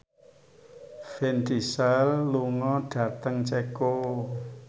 Vin Diesel lunga dhateng Ceko